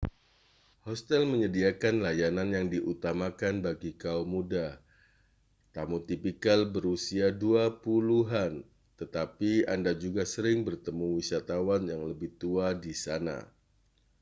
hostel menyediakan layanan yang diutamakan bagi kaum muda â€ tamu tipikal berusia dua puluhan â€ tetapi anda juga sering bertemu wisatawan yang lebih tua di sana